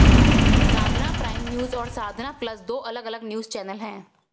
साधना prime news और Sadhna plus दो अलग अलग न्यूज़ चैनल हैं